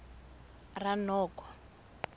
ranoko